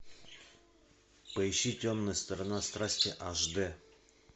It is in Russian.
поищи темная сторона страсти аш д